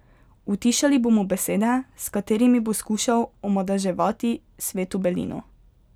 Utišali bomo besede, s katerimi bo skušal omadeževati sveto belino.